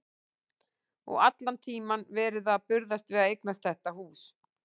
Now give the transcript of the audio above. Og allan tímann verið að burðast við að eignast þetta hús.